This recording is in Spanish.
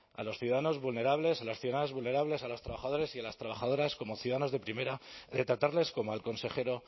a los ciudadanos vulnerables a las ciudadanas vulnerables a los trabajadores y a las trabajadoras como ciudadanos de primera de tratarles como al consejero